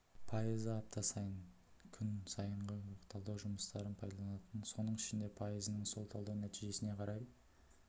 пайызы апта ай күн сайынғы талдау жұмыстарын пайдаланатынын соның ішінде пайызының сол талдау нәтижесіне қарай